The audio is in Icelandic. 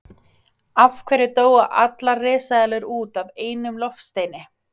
Af hverju dóu allar risaeðlur út af einum loftsteini?